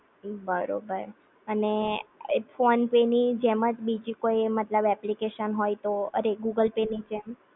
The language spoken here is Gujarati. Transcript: બરોબર અને અ ફોન પે ની જએમ જ બીજી કોઈ મતલબ એપ્લિકેશન હોય તો અરે ગૂગલ પે ની જેમ